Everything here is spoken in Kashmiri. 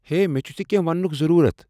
ہے، مےٚ چھُ ژےٚ کینہہ وننُک ضروٗرت ۔